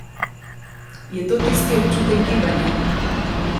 Je to tisti občutek gibanja?